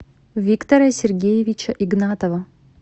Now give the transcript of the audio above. виктора сергеевича игнатова